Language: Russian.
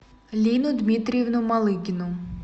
лину дмитриевну малыгину